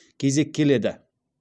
кезек келеді